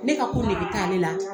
Ne ka ko de bɛ taa ale laadi